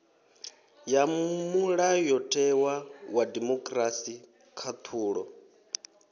ya mulayotewa wa demokirasi khaṱhulo